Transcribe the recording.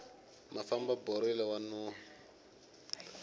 mafamba borile wa nuhwa